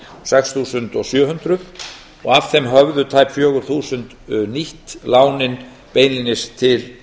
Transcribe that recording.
sex þúsund sjö hundruð og af þeim höfðu tæp fjögur þúsund nýtt lánin beinlínis til